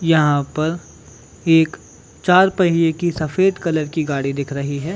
यहाँ पर एक चार पहिए की सफ़ेद कलर की गाड़ी दिख रही है।